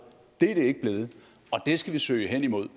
det er det ikke blevet og det skal vi søge hen imod